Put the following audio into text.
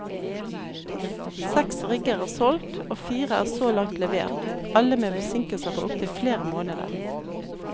Seks rigger er solgt, og fire er så langt levert, alle med forsinkelser på opptil flere måneder.